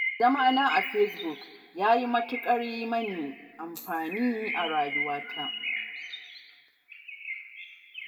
Zamana a Facebook ya yi matuƙar yi min amfani a rayuwa.